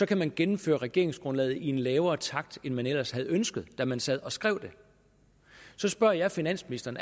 kan man gennemføre regeringsgrundlaget i en lavere takt end man ellers havde ønsket da man sad og skrev det så spørger jeg finansministeren